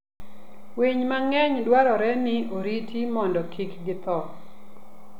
Winy mang'eny dwarore ni oriti mondo kik githo.